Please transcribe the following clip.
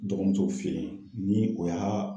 Dɔgɔmuso fɛ yen ni o y'a